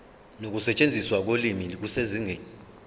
nokusetshenziswa kolimi kusezingeni